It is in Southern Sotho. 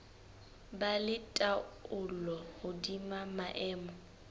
ba le taolo hodima maemo